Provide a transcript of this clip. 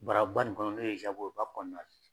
Baraba nin kɔnɔ n'o ye zago ye o b'a kɔnɔna la.